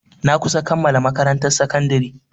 Na kusa kammala makarantar sakandari.